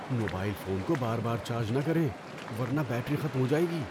Mobile phone کو بار بار چارج نہ کریں ورنہ بیٹری ختم ہو جائے گی۔